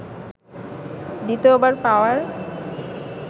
দ্বিতীয়বার পাওয়ার